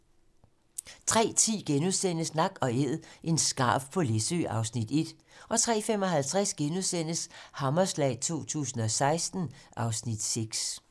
03:10: Nak & æd - en skarv på Læsø (Afs. 1)* 03:55: Hammerslag 2016 (Afs. 6)*